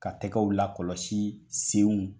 Ka tɛgɛw lakɔlɔsi senw.